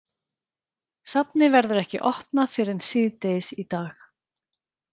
Safnið verður ekki opnað fyrr en síðdegis í dag.